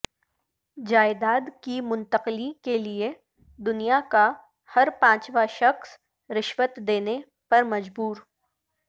جائیداد کی منتقلی کیلئے دنیا کاہر پانچواں شخص رشوت دینے پر مجبور